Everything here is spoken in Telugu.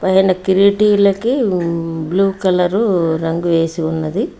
పైన కిరిటీలకి బ్లూ కలరు రంగు వేసి ఉన్నది.